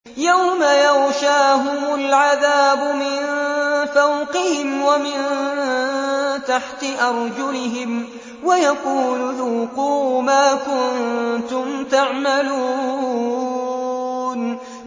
يَوْمَ يَغْشَاهُمُ الْعَذَابُ مِن فَوْقِهِمْ وَمِن تَحْتِ أَرْجُلِهِمْ وَيَقُولُ ذُوقُوا مَا كُنتُمْ تَعْمَلُونَ